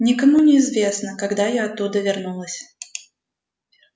никому не известно когда я оттуда вернулась